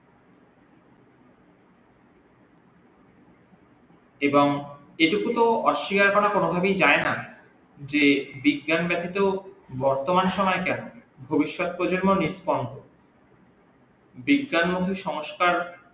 এবং এই টুকু তো অশ্যিকার করা কোনদিন যাই না যে বিজ্ঞান ব্যাতিত বর্তমান সময় কেন ভবিস্যত প্রজন্মও নিস্পন্দ বিজ্ঞান মুখী সংস্কার